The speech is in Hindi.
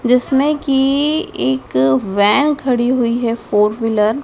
जिसमे कि एक वैन खड़ी हुई है फोर व्हीलर --